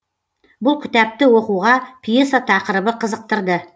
бұл кіттапты оқуға пьеса тақырыбы қызықтырды